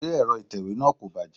Ṣé Ẹ̀rọ itewe náà kò bàjẹ́?